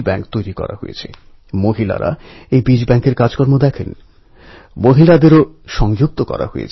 তিলকজীর জন্মের পঞ্চাশ বছর পরে ঠিক ওই দিন অর্থাৎ ২৩শে জুলাই ভারতমাতার আর এক সুপুত্রর জন্ম হয়েছিল